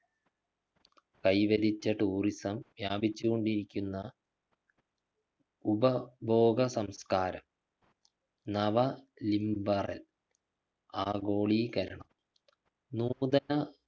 കൈവരിച്ച tourism വ്യാപിച്ചു കൊണ്ടിരിക്കുന്ന ഉപഭോഗ സംസ്കാരം നവ ലിംബറൽ ആഗോളീകരണം നൂതന